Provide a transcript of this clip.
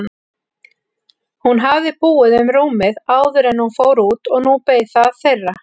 Hún hafði búið um rúmið áður en hún fór út og nú beið það þeirra.